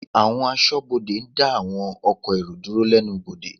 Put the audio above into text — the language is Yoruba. Àwọn Aṣọ́bodè ń dá àwọn ọkọ̀ èrò dúró lẹ́nu bodè